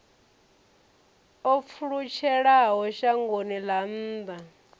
o pfulutshelaho shangoni ḽa nnḓa